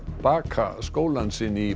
baka skólann sinn í